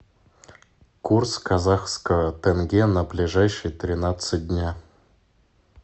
курс казахского тенге на ближайшие тринадцать дня